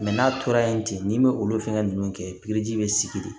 n'a tora yen ten n'i ma olu fɛnkɛ ninnu kɛ pikiri ji bɛ sigi de